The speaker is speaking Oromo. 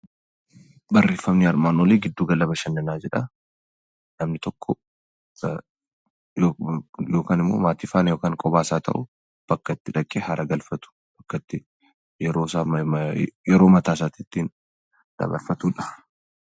Giddu galli bashannanaa namni tokko kophaa yookaan maatii waliinis haa ta'u bakka itti dhaqee haara galfatu bakka itti yeroo mataasaa itti dabarfatudha.